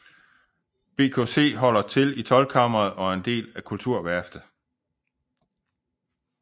BKC holder til i Toldkammeret og er en del af Kulturværftet